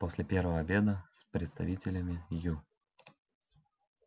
после первого обеда с представителями ю